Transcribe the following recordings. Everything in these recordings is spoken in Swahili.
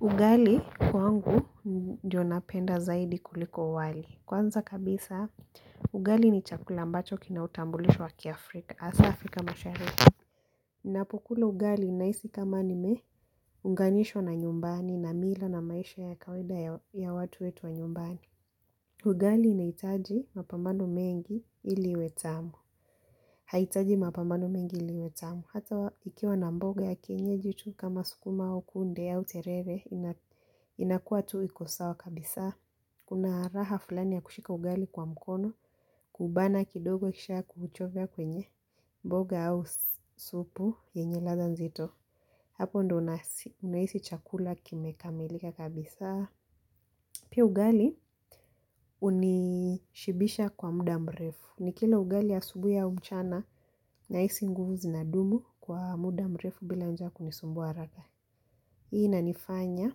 Ugali kwangu ndio napenda zaidi kuliko wali. Kwanza kabisa, ugali ni chakula mbacho kina utambulisho wa kiafrika. Hasa Afrika mashariki. Ninapokula ugali nahisi kama nimeunganishwa na nyumbani na mila na maisha ya kawaida ya watu wetu wa nyumbani. Ugali inahitaji mapambano mengi ili iwe tamu. Haihitaji mapamano mengi ili iwe tamu. Hata ikiwa na mboga ya kienyeji tu kama sukuma au kunde au terere inakuwa tu iko sawa kabisa. Kuna raha fulani ya kushika ugali kwa mkono, kuubana kidogo kisha kuuchovya kwenye mboga au supu yenye ladha nzito. Hapo ndio nahisi chakula kimekamilika kabisa. Pia ugali hunishibisha kwa muda mrefu. Nikila ugali asubuhi au mchana nahisi nguvu zinadumu kwa muda mrefu bila njaa kunisumbua haraka. Hii inanifanya,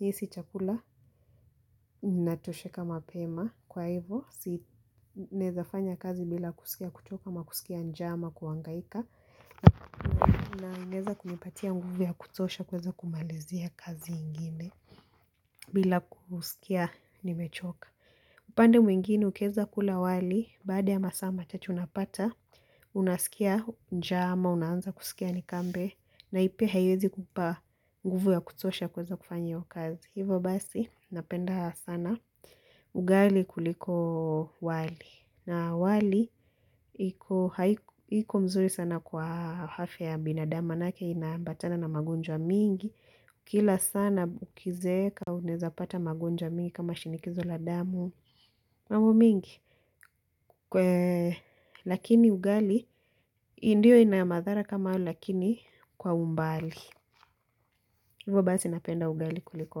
nihisi chakula, natosheka mapema. Kwa hivo, si naweza fanya kazi bila kusikia kuchoka ama kusikia njaa ama kuhangaika. Naongeza kunipatia nguvu ya kutosha kuweza kumalizia kazi ingine bila kusikia nimechoka. Upande mwingine ukiweza kula wali, baada ya masaa machache unapata, unasikia njaa ama unaanza kusikia nikambe, na pia haiwezi kupa nguvu ya kutosha kuweza kufanya hiyo kazi. Hivo basi, napenda sana, ugali kuliko wali. Na wali, iko mzuri sana kwa afya ya binadamu maanake, inaambatana na magonjwa mingi. Kila sana ukizeeka, unaeza pata magonjwa mingi kama shinikizo la damu. Mambo mingi, lakini ugali, ndiyo ina madhara kama hayo lakini kwa umbali. Hivo basi napenda ugali kuliko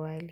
wali.